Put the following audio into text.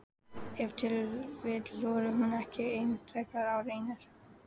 Ef til vill þorir hún ekki ein þegar á reynir?